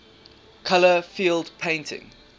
color field painting